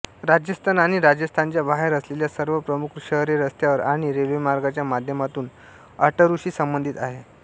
राजस्थान आणि राजस्थानच्या बाहेर असलेल्या सर्व प्रमुख शहरे रस्त्यावर आणि रेल्वेमार्गाच्या माध्यमातून अटरूशी संबंधित आहेत